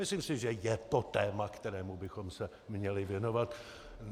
Myslím si, že je to téma, kterému bychom se měli věnovat.